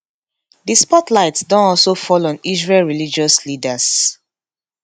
di spotlight don also fall on israel religious leaders